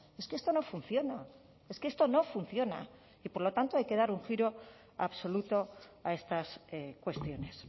es que esto no funciona es que esto no funciona y por lo tanto hay que dar un giro absoluto a estas cuestiones